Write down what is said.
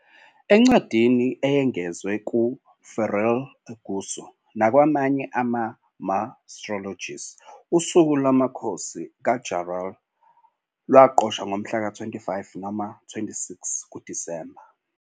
Encwadini eyengezwe "kuFélire Óengusso" nakwamanye ama-martyrologies, usuku lomkhosi kaJarlath lwaqoshwa ngomhlaka 25 noma 26 kuDisemba.